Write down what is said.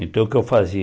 Então o que eu